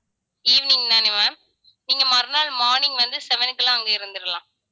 evening தான ma'am நீங்க மறுநாள் morning வந்து, seven க்கு எல்லாம் அங்க இருந்துடலாம்